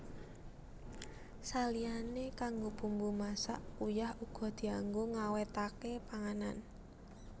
Saliyané kanggo bumbu masak uyah uga dianggo ngawètaké panganan